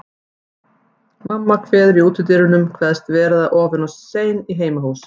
Mamma kveður í útidyrunum, kveðst vera orðin of sein í heimahús.